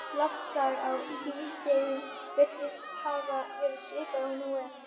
Loftslag á hlýskeiðum virðist hafa verið svipað og nú er.